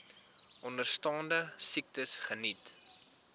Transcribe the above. onderstaande siektes geniet